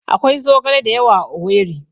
Akwai zogala da yawa a Owerri